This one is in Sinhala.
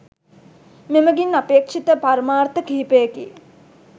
මෙමගින් අපේක්ෂිත පරමාර්ථ කිහිපයකි